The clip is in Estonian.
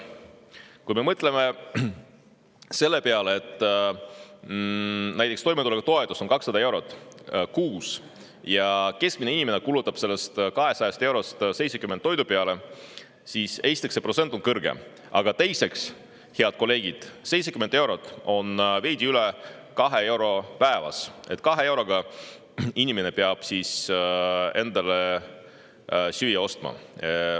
Kui me mõtleme selle peale, et näiteks toimetulekutoetus on 200 eurot kuus ja keskmine inimene kulutab sellest 200 eurost 70 toidu peale, siis on selge, et esiteks on see protsent kõrge, aga teiseks, head kolleegid, 70 eurot on veidi üle 2 euro päevas, nii et 2 euro eest peab inimene siis endale süüa ostma.